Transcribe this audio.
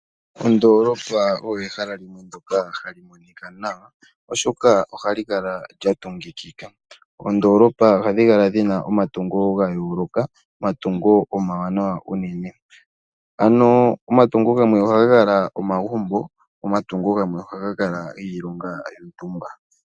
Ondolopa oyo ehala ndyoka hali monika nawa, oshoka ohali kala lya tungikika. Oondolopa ohadhi kala dhina omatungo gayooloka, omatungo omawanawa unene. Ano omatungo gamwe ohaga kala omagumbo go omatungo gamwe ohaga kala giilonga yontumba.